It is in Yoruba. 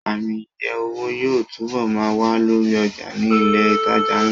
Ààmì iye owó yóò túbọ̀ ma wà lórí ọjà ní ilẹ̀ ìtajà ńlá